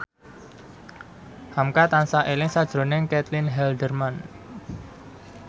hamka tansah eling sakjroning Caitlin Halderman